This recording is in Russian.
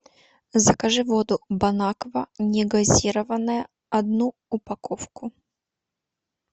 закажи воду бон аква негазированная одну упаковку